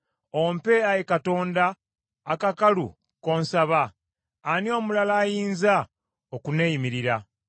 “Ompe, Ayi Katonda akakalu k’onsaba. Ani omulala ayinza okunneeyimirira?